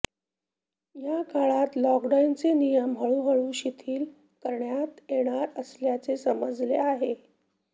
या काळात लॉकडाऊनचे नियम हळूहळू शिथिल करण्यात येणार असल्याचे समजते आहे